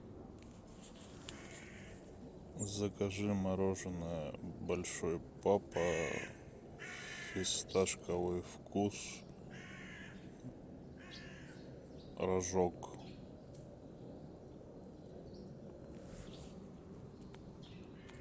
закажи мороженое большой папа фисташковый вкус рожок